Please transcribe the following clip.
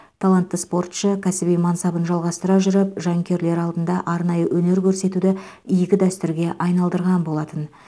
талантты спортшы кәсіби мансабын жалғастыра жүріп жанкүйерлері алдында арнайы өнер көрсетуді игі дәстүрге айналдырған болатын